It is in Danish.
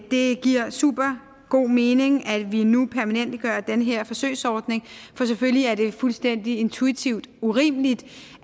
det giver supergod mening at vi nu permanentgør den her forsøgsordning for selvfølgelig er det fuldstændig intuitivt urimeligt